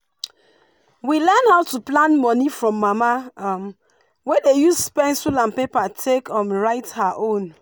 we learn how to plan money from mama um wey dey use pencil and paper take um write her own